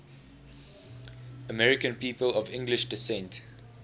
american people of english descent